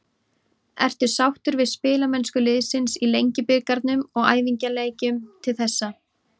Ertu sáttur við spilamennsku liðsins í Lengjubikarnum og æfingaleikjum til þessa?